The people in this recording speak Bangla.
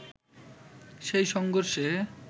সেই সংঘর্ষে